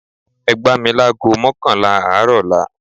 Ẹ gbá mi láágo mọ́kànlá àárọ̀ ọ̀la